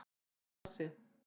Fundu hálft tonn af hassi